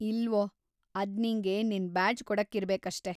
ಇಲ್ವೋ, ಅದ್ ನಿಂಗೆ ನಿನ್ ಬ್ಯಾಡ್ಜ್‌ ಕೊಡಕ್ಕಿರ್ಬೇಕಷ್ಟೇ.